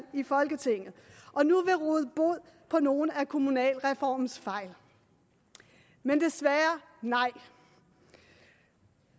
i folketinget og nu vil råde bod på nogle af kommunalreformens fejl men desværre nej